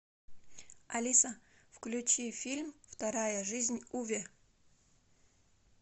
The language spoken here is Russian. алиса включи фильм вторая жизнь уве